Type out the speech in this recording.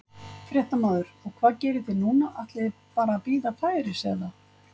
Fréttamaður: Og hvað gerið þið núna, ætlið þið bara að bíða færis eða?